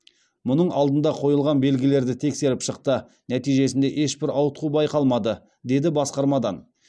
мұның алдында қойылған белгілерді тексеріп шықты нәтижесінде ешбір ауытқу байқалмады деді басқармадан